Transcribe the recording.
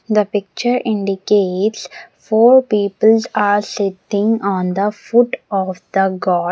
The picture indicates four people's are sitting on the foot of the God.